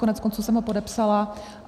Koneckonců jsem ho podepsala.